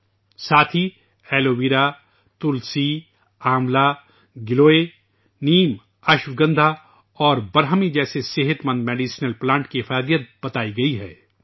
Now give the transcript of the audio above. اس کے ساتھ ایلوویرا ، تلسی ، آملہ ، گیلوے ، نیم ، اشواگندھا اور برہمی جیسے صحت مند دواؤں کے پودوں کی افادیت بتائی گئی ہے